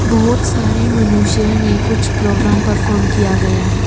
बहुत सारे मनुष्य ने कुछ प्रोग्राम परफॉम किया गया है।